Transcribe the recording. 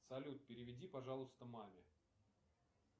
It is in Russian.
салют переведи пожалуйста маме